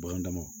Bagan dama